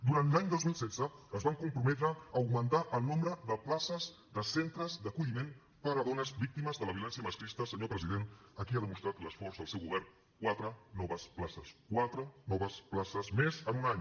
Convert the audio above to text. durant l’any dos mil setze es van comprometre a augmentar el nombre de places de centres d’acolliment per a dones víctimes de la violència masclista senyor president aquí ha demostrat l’esforç del seu govern quatre noves places quatre noves places més en un any